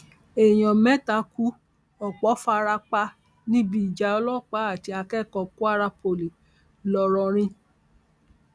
èèyàn mẹta kú ọpọ fara pa níbi ìjà ọlọpàá àti akẹkọọ kwara poli ńlọrọrin